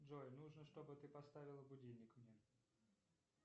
джой нужно чтобы ты поставила будильник мне